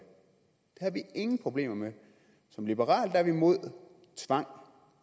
har vi ingen problemer med som liberale er vi imod tvang